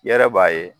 I yɛrɛ b'a ye